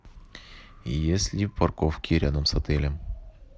есть ли парковки рядом с отелем